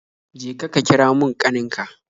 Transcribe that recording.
Je ka, ka kira mun kanin ka